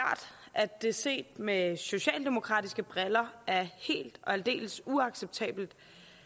at det set med socialdemokratiske briller er helt og aldeles uacceptabelt